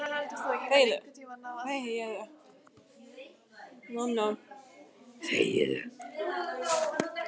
Íshildur, hvað er mikið eftir af niðurteljaranum?